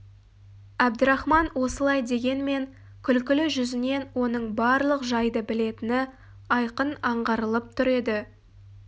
әбдірахман осылай дегенмен күлкілі жүзінен оның барлық жайды білетіні айқын аңғарылып тұр еді